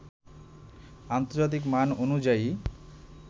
আন্তর্জাতিক মান অনুযায়ী